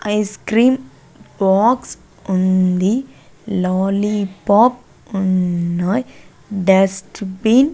Ice cream box ఉంది lollipop ఉన్నాయి dustbin .